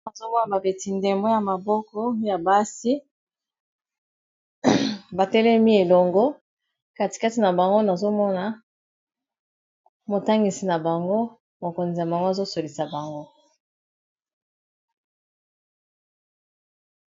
Nazo mona, babeti ndemo ya maboko ya basi batelemi elongo. Katikati na bango nazo mona motangisi na bango mokonzi na bango azosolisa bango.